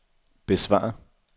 besvar